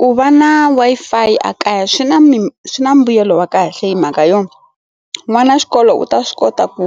Ku va na Wi-Fi a kaya swi na swi na mbuyelo wa kahle hi mhaka yona n'wana wa xikolo u ta swi kota ku